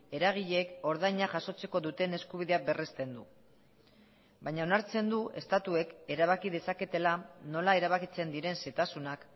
eragileek ordaina jasotzeko duten eskubidea berrezten du baina onartzen du estatuek erabaki dezaketela nola erabakitzen diren xehetasunak